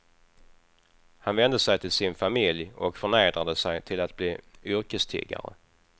Han vände sig till sin familj och förnedrade sig till att bli yrkestiggare.